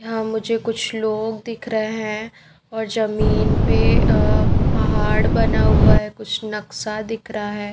हाँ मुझे कुछ लोग दिख रहे हैं और ज़मीन पे अ पहाड़ बना हुआ है कुछ नक्सा दिख रहा है।